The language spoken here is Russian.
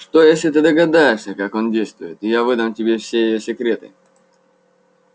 что если ты догадался как он действует и я выдам тебе все её секреты